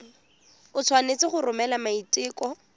o tshwanetse go romela maiteko